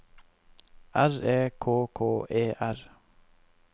R E K K E R